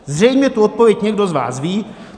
Zřejmě tu odpověď někdo z vás ví.